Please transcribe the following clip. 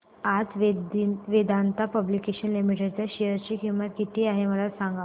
आज Vedanta public limited च्या share ची किंमत किती आहे मला सांगा